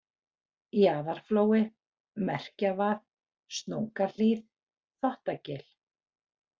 Jaðarflói, Merkjavað, Snókahlíð, Þvottagil